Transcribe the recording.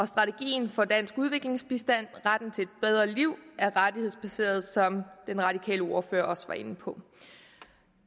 strategien for dansk udviklingsbistand retten til et bedre liv er rettighedsbaseret som den radikale ordfører også var inde på